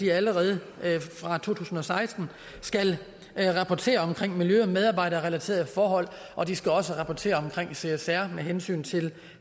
allerede fra to tusind og seksten skal rapportere om miljø og medarbejderrelaterede forhold og de skal også rapportere om csr med hensyn til